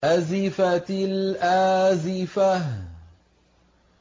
أَزِفَتِ الْآزِفَةُ